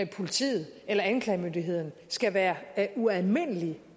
politiet eller anklagemyndigheden skal være ualmindelig